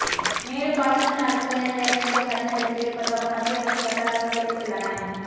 மேலும் பாகிஸ்தான் அரசுக்கு நேரடியாக இந்தியா கண்டனம் விடுக்க இருப்பதாகவும் மத்திய அரசு வட்டாரங்கள் தெரிவித்துள்ளன